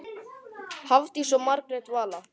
Hafdís og Margrét Vala.